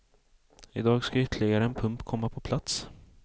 Idag ska ytterligare en pump komma på plats.